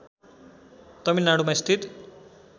तमिलनाडुमा स्थित